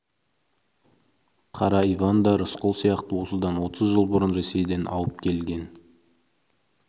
қара иван да рысқұл сияқты осыдан отыз жыл бұрын ресейден ауып келген